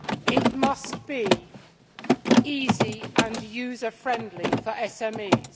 It must be easy and user friendly for SMEs